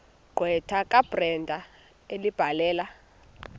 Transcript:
gqwetha kabrenda ebhalela